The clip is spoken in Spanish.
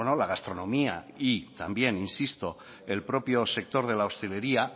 la gastronomía y también insisto el propio sector de la hostelería